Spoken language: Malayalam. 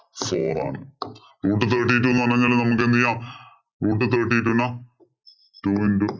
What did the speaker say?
four ആണ്. Root thirty two എന്ന് പറഞ്ഞു കഴിഞ്ഞാൽ നമുക്ക് എന്തെ ചെയ്യാം. Root thirty two നെ two into